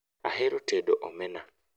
Ahero tedo omena